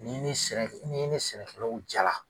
N'i ni sɛnɛ kɛ n'i ni sɛnɛkɛlaw jara